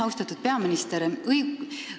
Austatud peaminister!